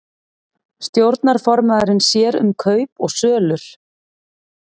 Stjórnarformaðurinn sér um kaup og sölur